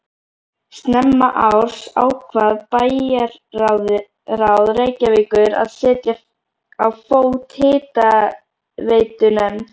Snemma árs ákvað bæjarráð Reykjavíkur að setja á fót hitaveitunefnd.